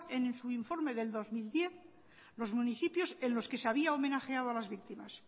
en su informe del dos mil diez los municipios en los que se había homenajeado a las victimas